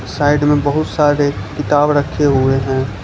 Side में बहुत सारे किताब रखें हुए हैं।